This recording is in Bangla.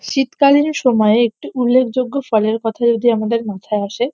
শীতকালেরই সময় একটি উল্লেখযোগ্য ফলের কথা যদি আমাদের মাথায় আসে।